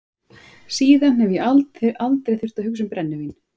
Síðan hef ég aldrei þurft að hugsa um brennivín.